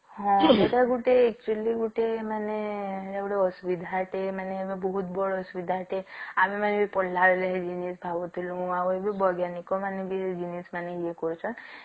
ହଁ ସେଟା ଗୋଟେ actually ଗୋଟେ ମାନେ ସବୁଠୁ ବାଡ ଅସୁବିଧା ଅଟେ ଆମେ ମାନେ ବି ପଢିଲା ବେଳେ ଭାବୁଥିଲୁ ଆଉ ବୈଜ୍ଞାନିକ ମାନେ ବି େ ଜିନିଷ ଏ କରୁସନ